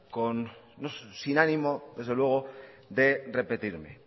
sin ánimo de repetirme